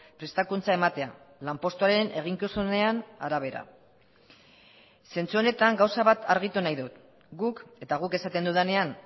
prestakuntza ematea lanpostuaren eginkizunean arabera zentsu honetan gauza bat argitu nahi dut guk eta guk esaten dudanean